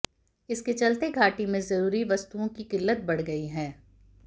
इसके चलते घाटी में जरूरी वस्तुओं की किल्लत बढ़ गयी है